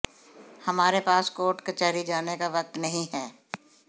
हमारे पास कोर्ट कचहरी जाने का वक्त नहीं है